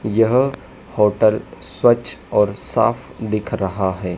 यह होटल स्वच्छ और साफ दिख रहा है।